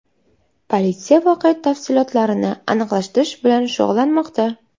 Politsiya voqea tafsilotlarini aniqlashtirish bilan shug‘ullanmoqda.